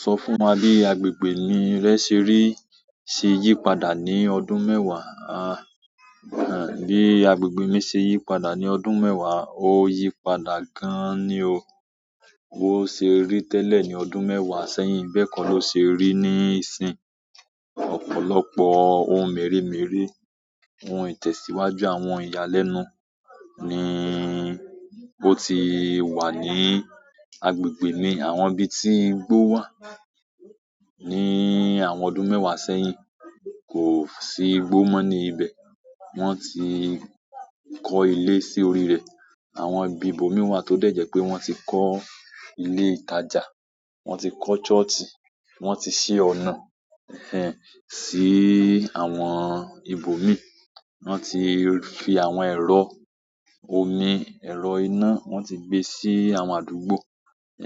Sọ fún wa bí agbègbè rẹ́ ṣe rí ti yípadà ní ọdún mẹ́wàá. Bí agbègbè mi ṣe yípadà ní ọdún mẹ́wàá, ó yípadà gan-an ni o. Bo ṣe rí tẹ́lẹ̀ ní ọdún mẹ́wàá sẹ́yìn, bẹ́ẹ̀ ko ló ṣe rí níìsínyi. Ọ̀pọ̀lọpọ̀ ohun mèremère, ohun ìtẹ̀síwájú àwọn ìyàlẹ́nu níí ó ti wà ní agbègbè mi, àwọn ibi tí igbó wà. Ní àwọn ọdún mẹ́wàá sẹ́yìn, kò sí igbó mọ́ ní ibẹ̀. Wọ́n ti kọ́ ilé sí orí rẹ̀, àwọn ibi ibòmí wà tó dẹ̀ jẹ́ pé wọ́n ti kọ́ ilé ìtajà, wọ́n ti kọ́ church, wọ́n ti ṣe ọ̀nà, ẹ́nh ẹ́n, sí àwọn ibòmíì. Won ti fi àwọn ero, omi, ero ina, won ti gbe si àwọn àdúgbò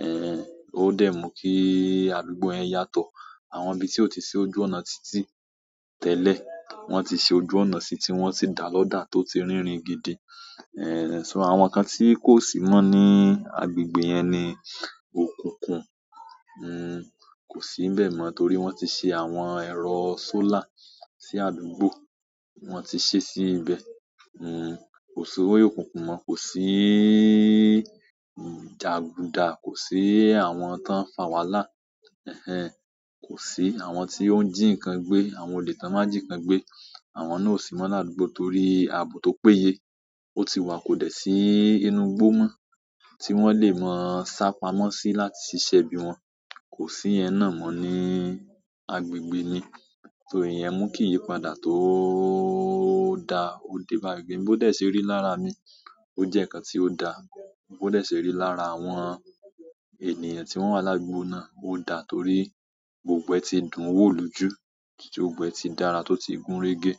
ẹ́nh ẹ́n, ó dẹ̀ mú kí àdúgbò yẹn yàtọ̀. Àwọn ibi tí ò tí sí ojú ọ̀nà títí tẹ́lẹ̀, wọ́n ti ṣe ojú ọ̀nà síi tí wọ́n ti dà lọ́dà tó ti rínrin gidi. Ẹ́nh ẹ́n, ṣọ́ àwọn kan tí kò sì mọ́ ní agbègbè yẹn ni òkùnkùn. Kò sí n bẹ́ẹ̀ mọ́ torí wọ́n ti ṣe àwọn ẹ̀rọ sólà sí àdúgbò, wọ́n ti ṣí sí ibẹ̀. Kò sí òkùnkùn mọ́, kò sí jaguda, kò sí àwọn ton fà wàhálà. Ẹ̀nh ẹ́n, kò sí àwọn tí ó ń jí nkan gbé, àwọn olè tó ń má n ji kan gbé. Àwọn náà ò sí mọ́ ní àdúgbò torí abo tó péye ó ti wà kò dẹ̀ sí inú igbó mọ́ tí wọ́n lè máa sá pamọ́ sí láti ṣiṣẹ́ bí wọn. Kò sí iyen náà mọ́ ní agbègbè ni. So iyen mú kìí yípadà tò da. O de bá agbègbè mi bó dẹ̀ ṣe rí lára mi, ó jẹ́ nǹkan tí ó da. Bó dẹ̀ ṣe rí lára àwọn ènìyàn tí wọ́n wà ládùúgbò náà, ó da torí gbogbo ẹ́ ti dùn wò lójú, gbogbo ẹ́ ti dára tó ti gúnrégé.